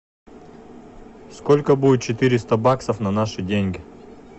сколько будет четыреста баксов на наши деньги